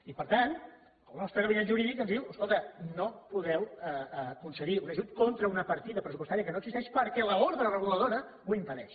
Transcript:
i per tant el nostre gabinet jurídic ens diu escolta no podeu concedir un ajut contra una partida pressupostària que no existeix perquè l’ordre reguladora ho impedeix